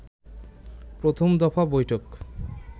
প্রথম দফা বৈঠক